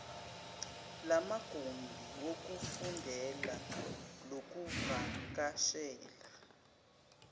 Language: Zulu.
lamagumbi wokufundela lokuvakashela